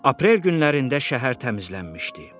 Aprel günlərində şəhər təmizlənmişdi.